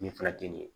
Nin fila tɛ nin ye